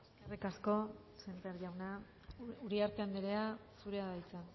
eskerrik asko sémper jauna uriarte andrea zurea da hitza